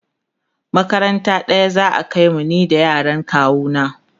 makaranta ɗaya za'a kaimu ni da yaran kawu na